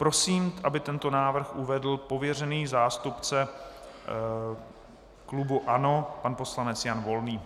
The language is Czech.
Prosím, aby tento návrh uvedl pověřený zástupce klubu ANO, pan poslanec Jan Volný.